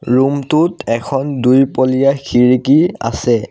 ৰূমটোত এখন দুইপলিয়া খিৰিকী আছে।